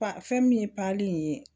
fɛn min ye in ye